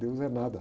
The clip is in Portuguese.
Deus é nada.